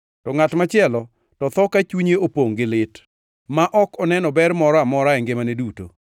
To ngʼat machielo to tho ka chunye opongʼ gi lit, ma ok oneno ber moro amora e ngimane duto.